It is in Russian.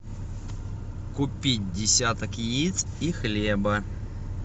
купить десяток яиц и хлеба